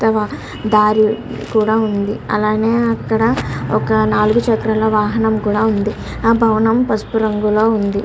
ఇక్కడ మూడు చుట్ల దరి కూడా ఉన్నదీ. వాహనాలు కూడా ఉన్నాయ్.